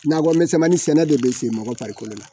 Nakɔmisɛnmani sɛnɛ de bɛ se mɔgɔ farikolo la